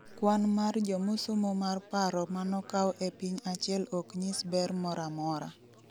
kwan mar jomosomo mar paro manokaw e piny achiel oknyis ber moramora